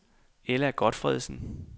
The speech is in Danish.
Ella Gotfredsen